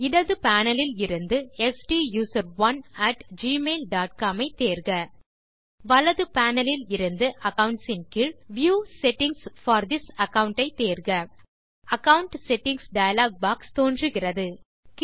இடது பேனல் இலிருந்து STUSERONEgmail dot com ஐ தேர்க வலது பேனல் இலிருந்து அக்கவுண்ட்ஸ் கீழ் view settings for this account ஐ தேர்க அகாவுண்ட் செட்டிங்ஸ் டயலாக் பாக்ஸ் தோன்றுகிறது